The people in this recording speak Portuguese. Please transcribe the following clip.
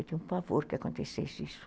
Eu tinha um favor que acontecesse isso.